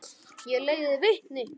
Ég leiði vitni.